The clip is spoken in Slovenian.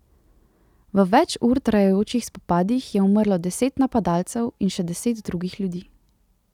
V več ur trajajočih spopadih je umrlo deset napadalcev in še deset drugih ljudi.